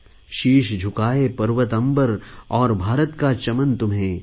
शीश झुकाएँ पर्वत अम्बर और भारत का चमन तुम्हें